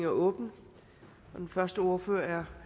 åbnet den første ordfører er